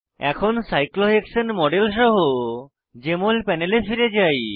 এখন cyclohexane model সহ JML প্যানেলে ফিরে যাই